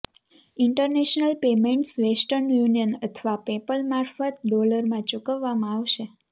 international payments western union અથવા PayPal મારફત ડોલરમાં ચૂકવવામાં આવશે